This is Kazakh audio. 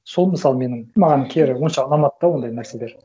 сол мысалы менің маған кері онша ұнамады да ондай нәрселер